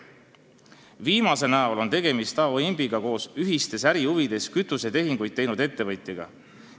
Viimase näol on tegemist A.O. Imbiga koos ühistes ärihuvides kütusetehinguid teinud ettevõtjaga.